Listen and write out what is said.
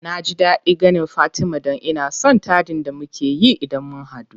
Naji daɗin ganin fatima dan ina son taɗin da mukeyi idan mun hadu.